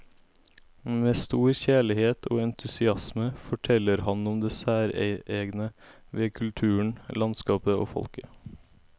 Med stor kjærlighet og entusiasme forteller han om det særegne ved kulturen, landskapet og folket.